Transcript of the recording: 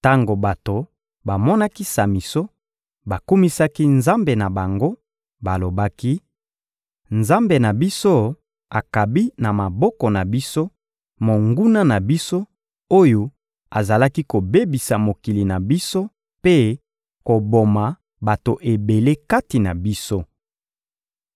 Tango bato bamonaki Samison, bakumisaki nzambe na bango, balobaki: «Nzambe na biso akabi na maboko na biso, monguna na biso, oyo azalaki kobebisa mokili na biso mpe koboma bato ebele kati na biso.»